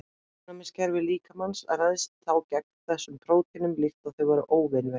Ónæmiskerfi líkamans ræðst þá gegn þessum prótínum líkt og þau væru óvinveitt.